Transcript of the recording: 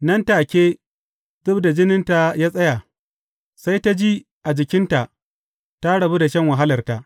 Nan da take, zub da jininta ya tsaya, sai ta ji a jikinta ta rabu da shan wahalarta.